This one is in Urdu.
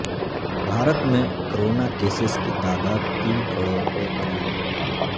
بھارت میں کرونا کیسز کی تعداد تین کروڑ کے قریب